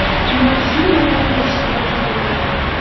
Muazzin yordam berishga rozi bo‘lgan.